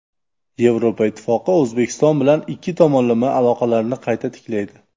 Yevropa Ittifoqi O‘zbekiston bilan ikki tomonlama aloqalarni qayta tiklaydi.